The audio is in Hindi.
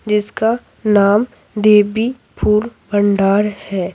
जिसका नाम देबी फूल भंडार है।